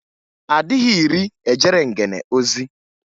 A dịghị iri ejere ngene ozi.